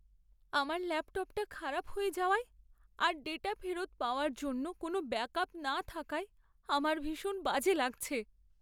আমার ল্যাপটপটা খারাপ হয়ে যাওয়ায় আর ডেটা ফেরত পাওয়ার জন্য কোনও ব্যাকআপ না থাকায় আমার ভীষণ বাজে লাগছে।